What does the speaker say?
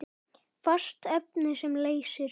Fast efni sem leysir